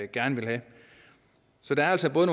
gerne vil have så der er altså både